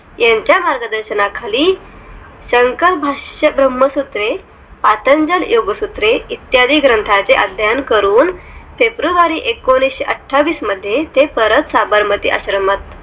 यांच्या मार्गदर्शनाखाली शंकरभाष्य ब्राह्मसुत्रे, पातंजल योगसूत्रे इत्यादी ग्रंथाचे अध्ययन करून february एकोणीशेअठावीस मध्ये ते परत साबरमती आश्रमात